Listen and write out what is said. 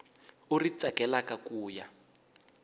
u ri tsakelaka ku ya